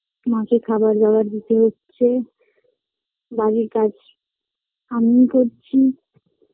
মাকে খাবার দাবার দিতে হচ্ছে বাড়ির কাজ আমিই করছি